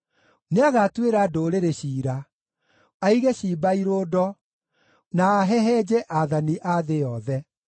Nĩagatuĩra ndũrĩrĩ ciira, aige ciimba irũndo, na ahehenje aathani a thĩ yothe.